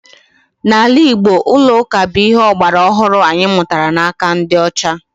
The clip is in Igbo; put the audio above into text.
N'ala Igbo, ụlọ ụka bụ ihe ọgbara ọhụrụ anyị mụtara n'aka ndị ọcha